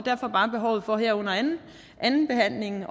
jeg bare behovet for her under andenbehandlingen